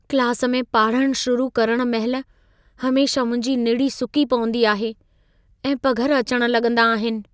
Class में पाढ़णु शुरू करण महिल हमेशह मुंहिंजी निड़ी सुकी पवंदी आहे ऐं पघर अचण लॻंदा आहिनि।